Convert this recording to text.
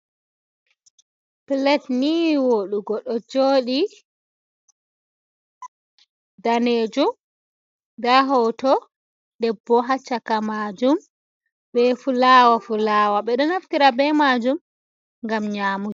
Pilet ni woɗugo ɗo joɗi danejum. Nda hoto debbo hacchaka majum be fulawa fulawa, beɗo naftira be majum ngam nyamugo.